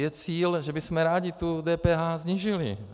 Je cíl, že bychom rádi tu DPH snížili.